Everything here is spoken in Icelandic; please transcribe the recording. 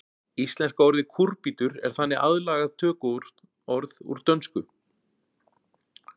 Íslenska orðið kúrbítur er þannig aðlagað tökuorð úr dönsku.